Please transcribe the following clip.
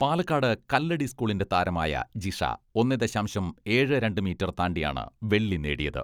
പാലക്കാട് കല്ലടി സ്കൂളിന്റെ താരമായ ജിഷ ഒന്നേ ദശാംശം ഏഴ്, രണ്ട് മീറ്റർ താണ്ടിയാണ് വെള്ളി നേടിയത്.